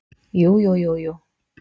Jú jú jú jú.